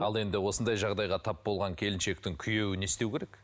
ал енді осындай жағдайға тап болған келіншектің күйеуі не істеу керек